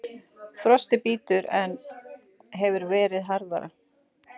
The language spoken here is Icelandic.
Frostið bítur en hefur verið harðara